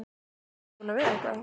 Ha, ertu búinn að veiða eitthvað?